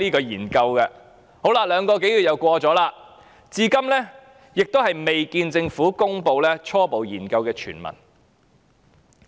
現在已過了兩個多月，至今仍未看到政府公布其初步研究的全文。